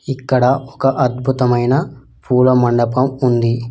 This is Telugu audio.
ఇక్కడ ఒక అద్భుతమైన పూల మండపం ఉంది.